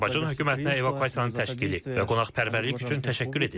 Azərbaycan hökumətinə evakuasiyanın təşkili və qonaqpərvərlik üçün təşəkkür edirik.